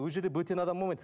ол жерде бөтен адам болмайды